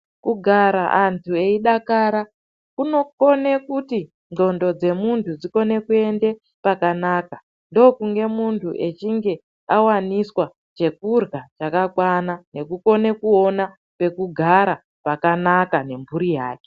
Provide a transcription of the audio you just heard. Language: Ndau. Kugara antu eyidakara kunokone kuti ndxondo dzemuntu dzikone kuende pakanaka ndokunge muntu echinge awaniswa chekurya chakakwana nekukone kuona pekugara pakanaka nemburi yake.